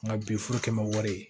Nka bi furu kɛ n bɛ wari ye